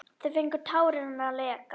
Þá fengu tárin að leka.